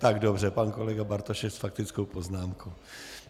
Tak dobře, pak kolega Bartošek s faktickou poznámkou.